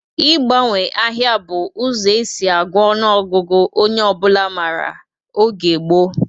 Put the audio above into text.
Ị gbanwe ahịa bụ ụzọ e si agụ ọnụọgụgụ onye ọbụla mara oge gboo